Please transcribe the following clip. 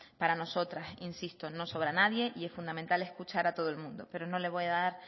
para nosotras insisto no sobra nadie y es fundamental escuchar a todo el mundo pero no le voy a dar